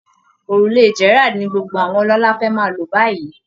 Òrùlé Gerrald ni gbogbo àwọn ọlọ́lá fẹ́ máa lò báyìí